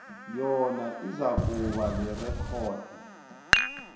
yona izakuba lirekhodi